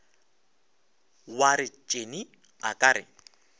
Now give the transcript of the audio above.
wa retšene a ka re